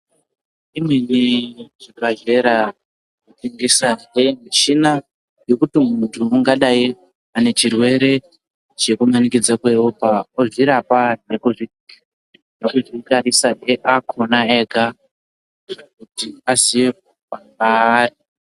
Imweni chibhadhlera inotengesahe michina yekuti muntu ungadai ane chirwere chekumanikidza kweropa, Odzirapa nekuzvitarisazve akona ega kuti aziye paamire.